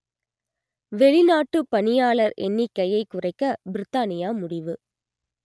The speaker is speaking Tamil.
வெளிநாட்டுப் பணியாளர் எண்ணிக்கையைக் குறைக்க பிரித்தானியா முடிவு